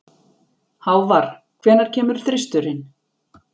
Hávarr, hvenær kemur þristurinn?